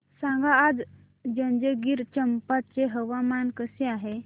सांगा आज जंजगिरचंपा चे हवामान कसे आहे